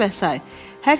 Götür və say.